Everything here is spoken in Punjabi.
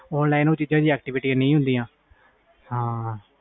online ਵਿਚ ਉਹ activites ਨਹੀਂ ਹੁੰਦੀਆਂ